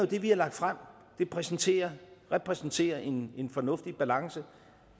det vi har lagt frem repræsenterer repræsenterer en en fornuftig balance